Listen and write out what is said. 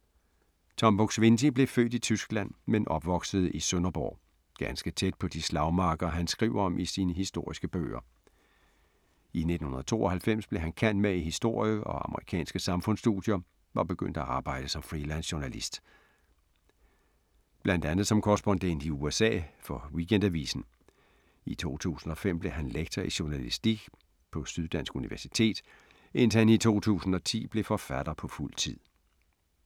Tom Buk-Swienty blev født i Tyskland, men opvoksede i Sønderborg. Ganske tæt på de slagmarker han skriver om i sine historiske bøger. I 1992 blev han cand.mag i historie og amerikanske samfundsstudier og begyndte at arbejde som freelancejournalist. Blandt andet som korrespondent i USA for Weekendavisen. I 2005 blev han lektor i journalistik på Syddansk Universitet, indtil han i 2010 blev forfatter på fuld tid.